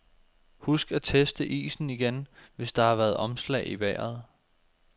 Husk at teste isen igen, hvis der har været omslag i vejret.